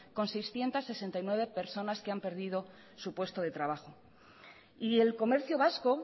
con seiscientos sesenta y nueve personas que han perdido su puesto de trabajo y el comercio vasco